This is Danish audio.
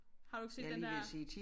Har du ikke set den der